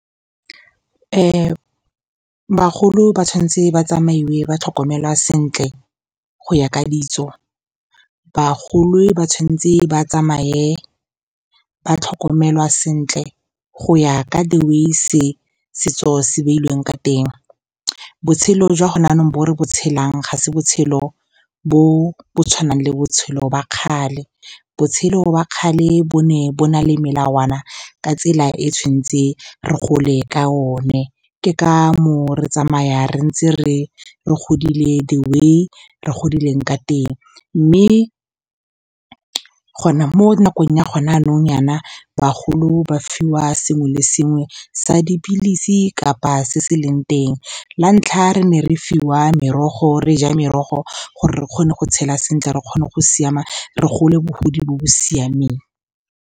Bagolo ba tshwanetse ba tsamaiwe ba tlhokomelwa sentle go ya ka ditso. Bagolo ba tshwanetse ba tsamaye ba tlhokomelwa sentle go ya ka the way setso se beilweng ka teng. Botshelo jwa gone jaanong bo re bo tshelang, ga se botshelo bo bo tshwanang le botshelo ba kgale. Botshelo jwa kgale bo ne bo na le melawana ka tsela e tshwantse re gole ka yone. Ke ka mo o re tsamaya re ntse re godile the way re godileng ka teng. Mme mo nakong ya gone jaanong, nyana bagolo ba fiwa le sengwe sa dipilisi kgotsa se se leng teng. La ntlha, re ne re fiwa merogo, re ja merogo gore re kgone go tshela sentle, re kgone go siama, re gole bogodi bo bo siameng.